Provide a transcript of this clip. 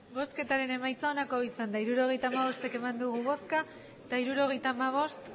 emandako botoak hirurogeita hamabost bai hirurogeita hamabost